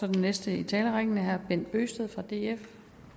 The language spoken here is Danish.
den næste i talerrækken herre bent bøgsted for df